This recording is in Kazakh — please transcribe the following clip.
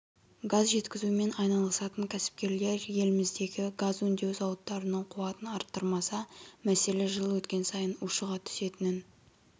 газ жеткізумен айналысатын кәсіпкерлер еліміздегі газ өңдеу зауыттарының қуатын арттырмаса мәселе жыл өткен сайын ушыға түсетінін